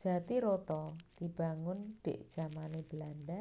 Jatiroto dibangun ndhik jamané Belanda